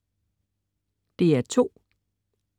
DR2: